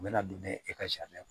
U bɛna don n'a ye e ka sariya